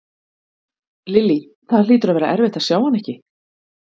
Lillý: Það hlýtur að vera erfitt að sjá hana ekki?